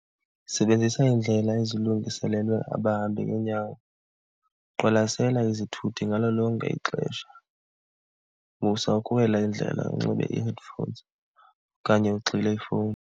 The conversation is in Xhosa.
Sebenzisa iindlela ezilungiselelwe abahambi ngeenyawo, qwalasela izithuthi ngalo lonke ixesha, musa ukuwela indlela unxibe ii-headphones okanye ugxile ifowuni.